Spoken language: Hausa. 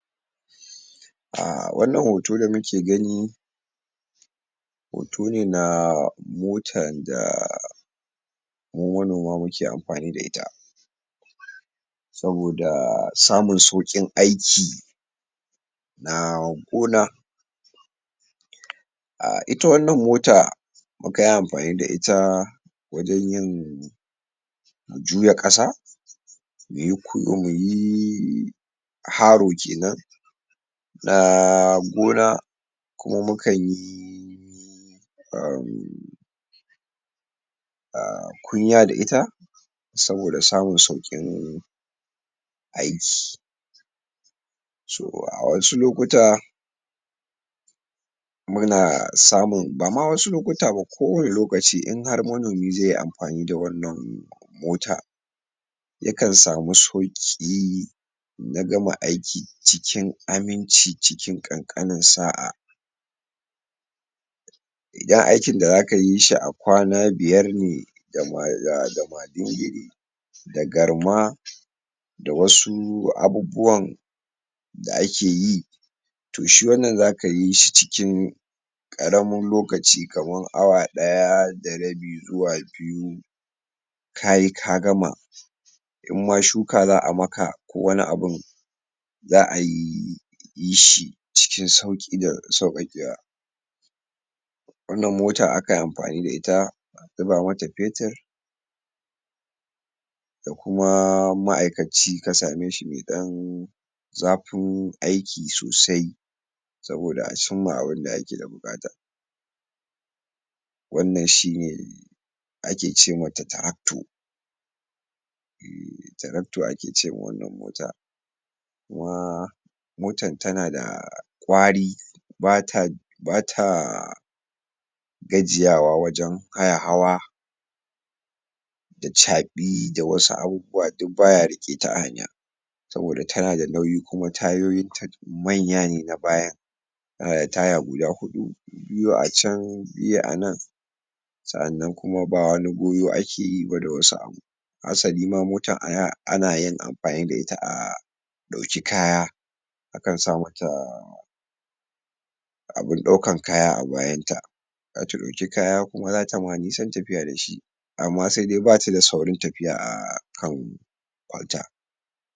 um Wannan hoto da muke gani hoto ne na motan da mu manoma muke anmfani fa ita saboda samun sauƙin aiki na gona um ita wannan mota muka yi amfani da ita wajen yin juya ƙasa haro kenan na gona kuma mukan yi um um kunya da ita saboda samun sauƙin aiki a wasu lokuta muna samun bama wasu lokuta ba ko wani lokaci in har manomi zai yi amfani da wannan mota yakan samu sauƙi na gama aiki cikin aminci ciki ƙanƙanin sa'a idan aikin da zaka yi shi a kwana biyar ne da madingiri da garma da wasu abubuwan da ake yi to wannan zaka yi shi cikin ƙaramin lokaci kaman awa ɗaya da rabi zuwa biyu ka yi ka gama in ma shuka za a maka ko wani abu za ayi yi shi cikin sauƙi da sauƙaƙewa wannan mota akan yi amfani da ita zuba mata fetur kuma ma'aikaci ka same shi mai ɗan zafin aiki sosai saboda a cimma abunda ake da buƙata wannan shine ake ce mata tarakto [Hausa] tarakto [Hausa] ake ce ma wannan mota motan tana da ƙwari ba ta ba ta gajiyawa wajen haihawa da caɓi da wasu abubuwa duk ba ya riƙe ta a hanya saboda tana da nauyi kuma tayoyin ta manya ne na baya tana da taya guda huɗu biyu a can biyu a nan sa'annan kuma ba wani goyo ake yi ba da wasu abu asali ma motan [um} ana yin amfanni da ita a ɗauki kaya akan sa mata abun ɗaukan kaya a bayan ta za ta ɗauki kaya kuma za ta ma nisan tafiya da shi amma sai dai ba ta da saurin tafiya a kan kwalta.